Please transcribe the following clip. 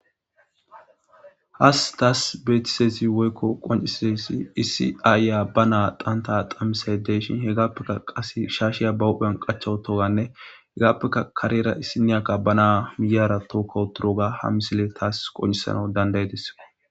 has taas beetisezi woykko qoncisesi isi aayya ba naa qanta qamisay deyshin hegaappeka qas shaashiya bahophphean qachawu toganne hegaappeka karera issi niyakka ba naa miyara tookkowuturoga ha misile taas qoncisana dandayedes